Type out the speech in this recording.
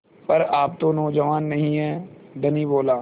पर आप तो नौजवान नहीं हैं धनी बोला